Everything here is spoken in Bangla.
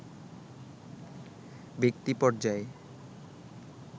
ব্যক্তি পর্যায়ে